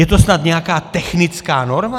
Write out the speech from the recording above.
Je to snad nějaká technická norma?